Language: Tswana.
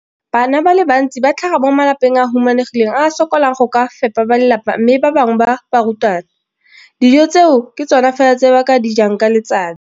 Bana ba le bantsi ba tlhaga mo malapeng a a humanegileng a a sokolang go ka fepa ba lelapa mme ba bangwe ba barutwana, dijo tseo ke tsona fela tse ba di jang ka letsatsi.